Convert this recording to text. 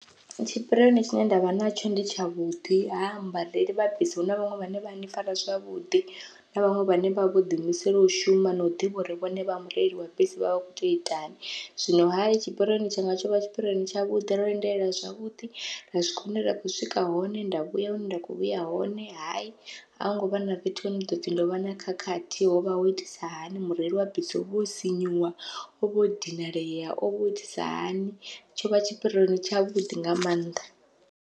Tshipirioni tshine ndavha natsho ndi tshavhuḓi ha mubadeli vha bisi huna vhaṅwe vhane vha ni fara zwavhuḓi na vhaṅwe vhane vhavha vho ḓi imisela u shuma nau ḓivha uri vhone vha mureili wa bisi vha vha kho tea uitani, zwino hayi tshipirioni tshanga tsho vha tshipirioni tshavhuḓi ro lindela zwavhuḓi ra swika henda vha ndi kho swika hone nda vhuya hune nda kho vhuya hone, hayi a hungo vha na fhethu hone ḓopfi ndovha na khakhathi hovha ho itisa hani mureili wa bisi o vha o sinyuwa ovha o dinalea o vho itisa hani, tshovha tshipirioni tshavhuḓi nga maanḓa.